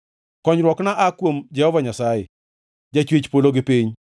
Konyruokna aa kuom Jehova Nyasaye, Jachwech polo gi piny.